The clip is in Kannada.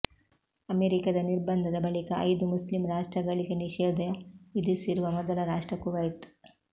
ಅಮೆರಿಕದ ನಿರ್ಬಂಧದ ಬಳಿಕ ಐದು ಮುಸ್ಲಿಂ ರಾಷ್ಟ್ರಗಳಿಗೆ ನಿಷೇಧ ವಿಧಿಸಿರುವ ಮೊದಲ ರಾಷ್ಟ್ರ ಕುವೈತ್